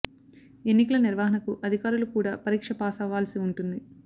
ఎన్నికల నిర్వహణ కు అధికారులు కూడా పరీక్ష పాస్ అవ్వాల్సి ఉంటుంది